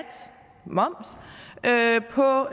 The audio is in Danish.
moms på